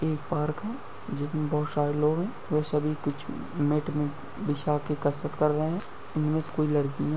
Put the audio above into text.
एक पार्क है जिसमे बहुत सारे लोग है वो सभी कुछ मेट बिछा के कसरत कर रहे है इनमे से कोई लड़की है।